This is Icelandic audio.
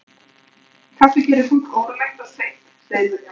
Kaffi gerir fólk órólegt og sveitt, segir Vilhjálmur.